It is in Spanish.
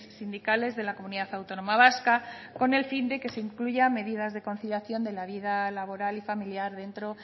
sindicales de la comunidad autónoma vasca con el fin de que se incluyan medidas de conciliación de la vida laboral y familiar dentro